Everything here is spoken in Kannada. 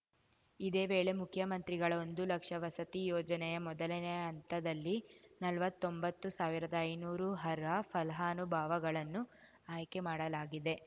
ಇದೇ ವೇಳೆ ಮುಖ್ಯಮಂತ್ರಿಗಳ ಒಂದು ಲಕ್ಷ ವಸತಿ ಯೋಜನೆಯ ಮೊದಲನೆ ಹಂತದಲ್ಲಿ ನಲ್ವತ್ತೊಂಬತ್ತು ಸಾವಿರದ ಐನೂರು ಅರ್ಹ ಫಲಾನುಭಾವಗಳನ್ನು ಆಯ್ಕೆ ಮಾಡಲಾಗಿದೆ